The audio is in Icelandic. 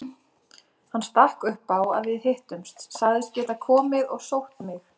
Hann stakk upp á að við hittumst, sagðist geta komið og sótt mig.